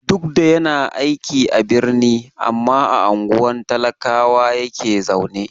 Duk da yana aiki a birni, amma a unguwar talakawa yake zaune.